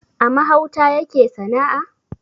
A mahauta yake sana`a